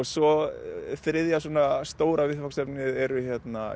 svo þriðja svona stóra viðfangsefnið eru